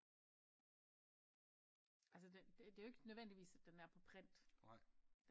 Altså den det det er jo ikke nødvendigvis den er på print